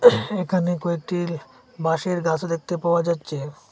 এখানে কয়েকটিল বাঁশের গাছ দেখতে পাওয়া যাচ্ছে।